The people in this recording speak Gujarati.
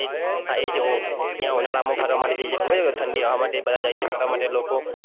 હા એ જ ત્યાં ઉનાળામાં ફરવા માટે જ્યાં જઈએ તે ઠંડી હવા માટે જાય છે ફરવા માટે જાય છે લોકો